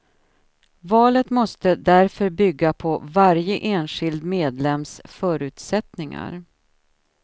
Valet måste därför bygga på varje enskild medlems förutsättningar.